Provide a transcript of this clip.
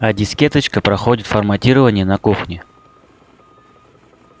а дискеточка проходит форматирование на кухне